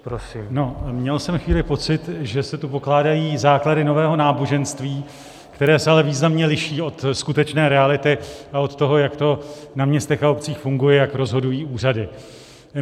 Měl jsem chvíli pocit, že se tu pokládají základy nového náboženství, které se ale významně liší od skutečné reality a od toho, jak to na městech a obcích funguje, jak rozhodují úřady.